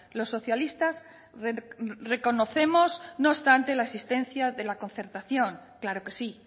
los socialistas reconocemos no obstante la existencia de la concertación claro que sí